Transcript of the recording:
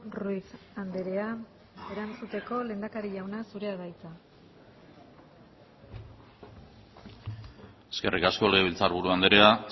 ruiz andrea erantzuteko lehendakari jauna zurea da hitza eskerrik asko legebiltzarburu andrea